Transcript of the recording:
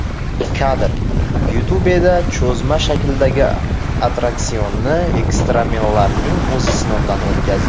Kadr: YouTube Cho‘zma shaklidagi attraksionni ekstremallarning o‘zi sinovdan o‘tkazdi.